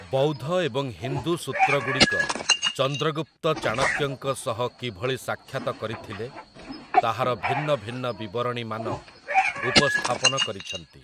ବୌଦ୍ଧ ଏବଂ ହିନ୍ଦୁ ସୂତ୍ରଗୁଡ଼ିକ ଚନ୍ଦ୍ରଗୁପ୍ତ ଚାଣକ୍ୟଙ୍କ ସହ କିଭଳି ସାକ୍ଷାତ କରିଥିଲେ ତାହାର ଭିନ୍ନ ଭିନ୍ନ ବିବରଣୀମାନ ଉପସ୍ଥାପନ କରିଛନ୍ତି ।